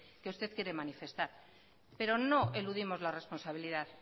que usted quiere manifestar pero no eludimos la responsabilidad